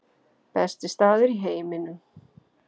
Besti staður í heiminum